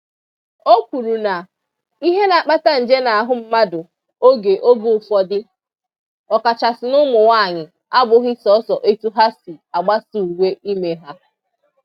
O kwuru na ihe na-akpata nje n'ahụ mmadụ oge oge ụfọdụ, ọkachasị n'ụmụnwaanyị abụghị sọọsọ etu ha si agbasa uwe ime ha